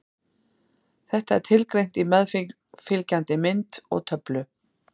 Þetta er tilgreint í meðfylgjandi mynd og töflu.